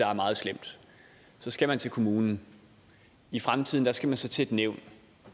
er meget slemt så skal man til kommunen i fremtiden skal man så til et nævn